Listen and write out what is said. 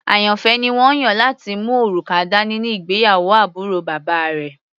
Àyànfẹ́ ni wọ́n yàn láti mú òrùka dání ní ìgbéyàwó àbúrò bàbá rẹ̀.